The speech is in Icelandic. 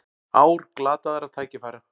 Ár glataðra tækifæra